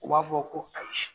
U b'a fɔ ko ayise